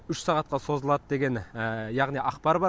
үш сағатқа созылады деген яғни ақпар бар